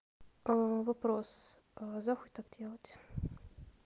вопрос за хуй так делать